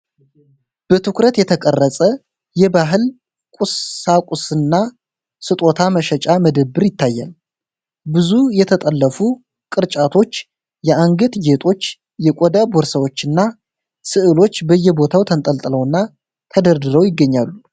በትኩረት የተቀረጸ የባህል ቁሳቁስና ስጦታ መሸጫ መደብር ይታያል። ብዙ የተጠለፉ ቅርጫቶች፣ የአንገት ጌጦች፣ የቆዳ ቦርሳዎችና ሥዕሎች በየቦታው ተንጠልጥለውና ተደርድረው ይገኛሉ።